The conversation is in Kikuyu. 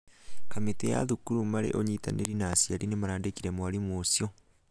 kamĩtĩ ya cukuru marĩ ĩnyitanĩire na aciari nĩmarandĩkire mwarimũ ũcio.